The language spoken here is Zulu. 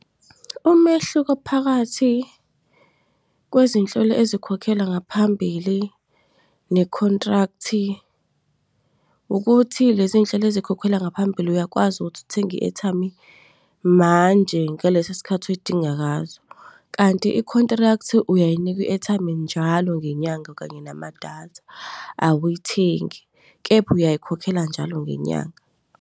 Umehluko phakathi kwezinhlelo ezikhokhelwa ngaphambili ne-contract, ukuthi lezinhlelo ezikhokhelwa ngaphambili uyakwazi ukuthi uthenge i-airtime manje ngaleso sikhathi uyidinga ngaso. Kanti, i-contract uyayinikwa i-airtime njalo ngenyanga kanye namadatha awuyithengi, kepha uyayikhokhela njalo ngenyanga.